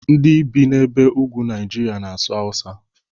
Ndị bi n'ebe ugwu Nigeria na-asụ Hausa